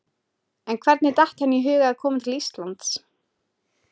En hvernig datt henni í hug að koma til Íslands?